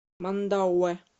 мандауэ